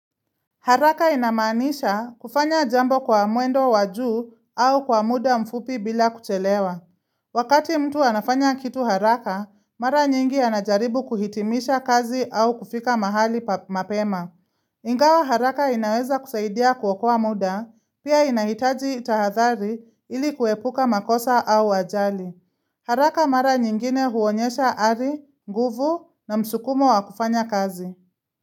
Haraka inamanisha kufanya jambo kwa muendo waju au kwa muda mfupi bila kuchelewa. Wakati mtu anafanya kitu haraka, mara nyingi anajaribu kuhitimisha kazi au kufika mahali mapema. Ingawa haraka inaweza kusaidia kuokoa muda, pia inahitaji tahathari ili kuepuka makosa au wajali. Haraka mara nyingine huonyesha ari, nguvu na msukumo wa kufanya kazi.